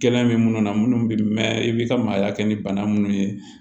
Kɛlɛ bɛ minnu na munnu bi mɛn i bi ka maaya kɛ ni bana minnu ye